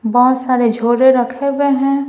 बहुत सारे रखे हुए हैं।